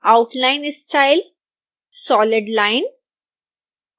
outline style solid line